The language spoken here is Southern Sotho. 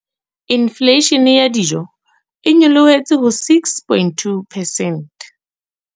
Infleishene ya dijo e nyolohetse ho 6.2 percent.